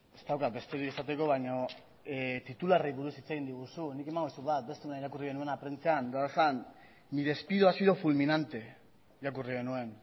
ez daukat besterik esateko baino titularrei buruz hitz egin diguzu nik emango dizut bat beste egunean irakurri genuena prentsan eta horrela zen mi despido ha sido fulminante irakurri genuen